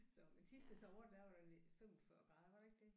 Så men sidste sommer der var der 45 grader var der ikke det?